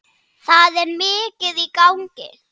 Það er mikið í gangi.